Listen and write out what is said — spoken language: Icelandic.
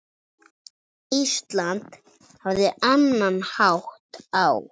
Ísland hafði annan hátt á.